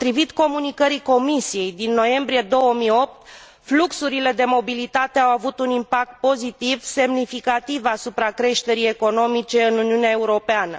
Potrivit comunicării Comisiei din noiembrie 2008, fluxurile de mobilitate au avut un impact pozitiv semnificativ asupra creșterii economice în Uniunea Europeană.